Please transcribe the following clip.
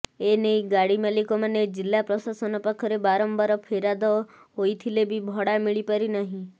ଏନେଇ ଗାଡ଼ି ମାଲିକମାନେ ଜିଲ୍ଲା ପ୍ରଶାସନ ପାଖରେ ବାରମ୍ୱାର ଫେରାଦ ହୋଇଥିଲେ ବି ଭଡ଼ା ମିଳିପାରି ନାହିଁ